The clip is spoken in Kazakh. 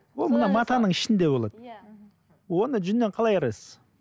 ол мына матаның ішінде болады иә оны жүннен қалай айырасыз